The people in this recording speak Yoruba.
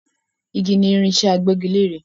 Igi ni irinsẹ́ agbẹ́gilẹ́re